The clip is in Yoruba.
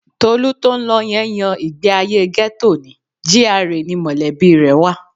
Tolú tó ń lọ yẹn yan ìgbéayé gẹ́tò ni, GRA ni mọ̀lẹ́bí rẹ̀ wa